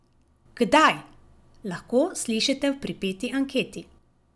Kdaj, lahko slišite v pripeti anketi.